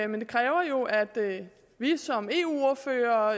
men det kræver jo at vi som eu ordførere